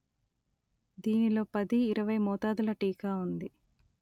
దీనిలో పది ఇరవై మోతాదుల టీకా ఉంది